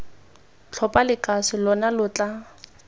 tlhopha lekase lona lo tla